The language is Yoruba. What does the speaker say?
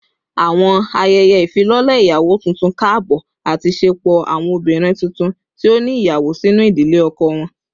Awọn ayẹyẹ ifilọlẹ iyawo tuntun kaabọ ati ṣepọ awọn obinrin tuntun ti o ni iyawo sinu idile ọkọ wọn